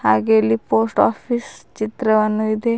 ಹಾಗೆ ಇಲ್ಲಿ post office ಚಿತ್ರವನ್ನು ಇದೆ.